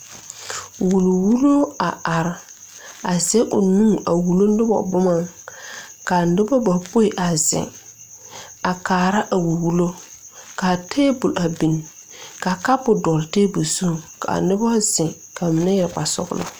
Wuli wullo a are a zege o nu a wullo nobɔ boma kaa nobɔ bapoi a zeŋ a kaara a wulli wullo kaa tabol a bin kaa kapu dɔɔle tabol zu kaa nobɔ zeŋ ka mine yɛre kpare sɔglɔ.